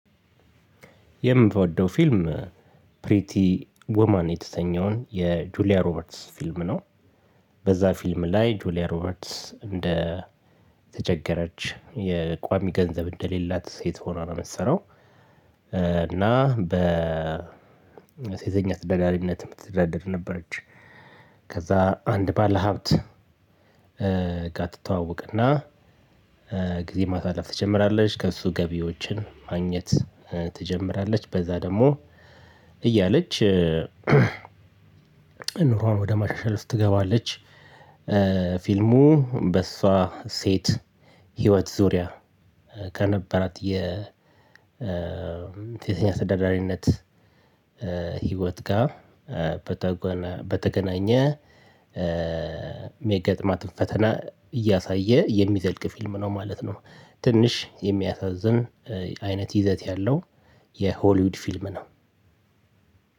የምትወደው ፊልም ፕሪቲ ዉማን የተሰኘውን የጁሊያ ሮበርትስ ፊልም ነው። በዛ ፊልም ላይ ጁሊያ ሮበርትስ እንደ የተቸገረች የቋሚ ገንዘብ እንደሌላት ሴት ሆና ነው ምትሰራው። እና በሴተኛ ተዳዳሪነት የምትተዳደር ነበረች። ከዛ አንድ ባለሀብት። ጋ ትተዋወቅና ጊዜ ማሳለፍ ትጀምራለች ከእሱ ገቢዎችን ማግኘት ትጀምራለች በዛ ደግሞ እያለች ኑሮዋን ወደ ማሻሻል ውስጥ ትገባለች። ፊልሙ በሷ ሴት ህይወት ዙሪያ ከነበራት የሴተኛ ተዳዳሪነት ህይወት ጋር በተገናኘ ሚገጥማትን ፈተና እያሳየ የሚዘልቅ ፊልም ነው ማለት ነው። ትንሽ የሚያሳዝን አይነት ይዘት ያለው የሆሊውድ ፊልም ነው።